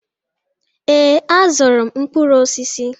Ee, azụrụ m mkpụrụ osisi.